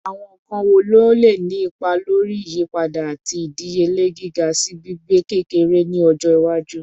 Awọn nkan wo ni o le ni ipa lori iyipada lati idiyele giga si gbigbe gbigbe-kekere ni ọjọ iwaju?